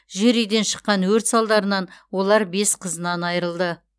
жер үйден шыққан өрт салдарынан олар бес қызынан айырылды